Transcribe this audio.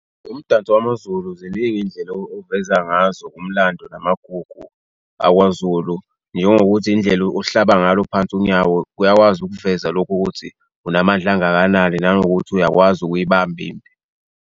Umdanso wamaZulu ziningi izindlela oveza ngazo umlando namagugu akwaZulu njengokuthi indlela ohlaba ngalo phansi unyawo kuyakwazi ukuveza lokhu ukuthi unamandla angakanani nanokuthi uyakwazi ukuyibamba impi.